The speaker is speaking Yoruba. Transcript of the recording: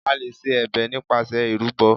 A lè ṣe ẹ̀bẹ̀ nípasẹ̀ ìrúbọ.